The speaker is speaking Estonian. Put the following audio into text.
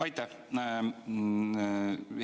Aitäh!